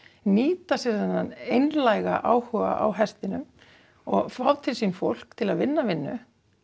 nýta sér þennan einlæga áhuga á hestinum og fá til sín fólk til að vinna vinnu